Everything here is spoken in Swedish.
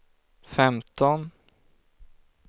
femton